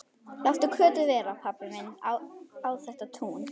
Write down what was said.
Láttu Kötu vera, pabbi minn á þetta tún!